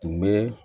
Tun bɛ